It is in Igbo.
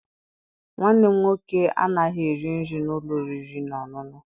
Nwanne m nwoke anaghị eri nri n'ụlọ oriri na ọṅụṅụ.